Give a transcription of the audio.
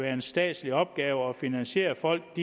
er en statslig opgave at finansiere at folk